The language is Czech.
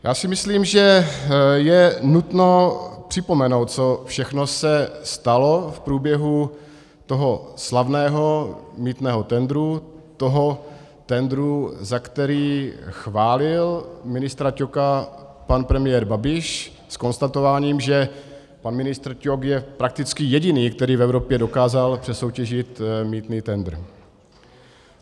Já si myslím, že je nutno připomenout, co všechno se stalo v průběhu toho slavného mýtného tendru, toho tendru, za který chválil ministra Ťoka pan premiér Babiš s konstatováním, že pan ministr Ťok je prakticky jediný, který v Evropě dokázal přesoutěžit mýtný tendr.